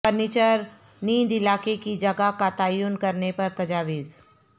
furniture نیند علاقے کی جگہ کا تعین کرنے پر تجاویز